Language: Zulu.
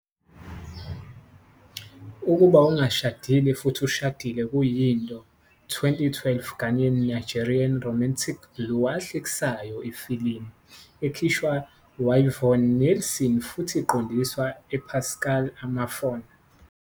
Ukuba Ongashadile Futhi Ushadile kuyinto 2012 Ghanaian Nigerian romantic blue ahlekisayo ifilimu, ekhishwa Yvonne Nelson futhi iqondiswa Pascal Amanfo.